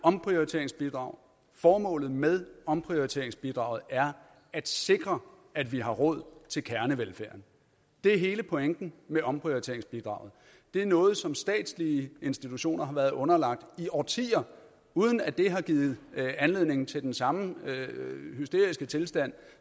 omprioriteringsbidrag formålet med omprioriteringsbidraget er at sikre at vi har råd til kernevelfærden det er hele pointen med omprioriteringsbidraget det er noget som statslige institutioner har været underlagt i årtier uden at det har givet anledning til den samme hysteriske tilstand